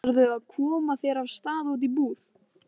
Ætlarðu að koma þér af stað út í búð?